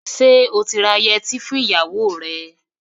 Ṣé ó ti ra yẹtí fún ìyàwó rẹ̀?